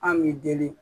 An b'i deli